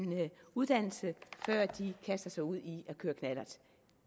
uddannelse før de kaster sig ud i at køre knallert